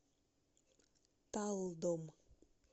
талдом